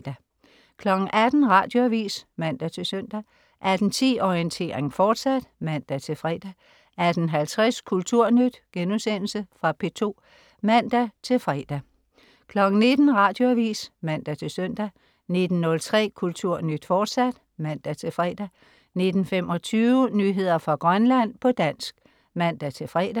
18.00 Radioavis (man-søn) 18.10 Orientering, fortsat (man-fre) 18.50 Kulturnyt.* Fra P2 (man-fre) 19.00 Radioavis (man-søn) 19.03 Kulturnyt, fortsat (man-fre) 19.25 Nyheder fra Grønland, på dansk (man-fre)